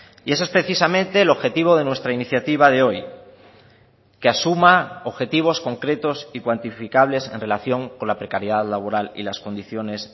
y ese es precisamente el objetivo de nuestra iniciativa de hoy que asuma objetivos concretos y cuantificables en relación con la precariedad laboral y las condiciones